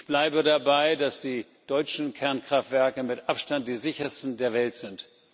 Ich bleibe dabei, dass die deutschen Kernkraftwerke mit Abstand die sichersten der Welt sind.